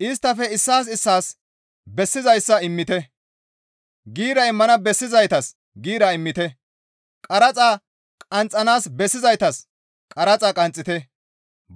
Isttafe issaas issaas bessizayssa immite; giira immana bessizaytas giira immite; qaraxa qanxxanaas bessizaytas qaraxa qanxxite;